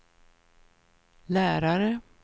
lärare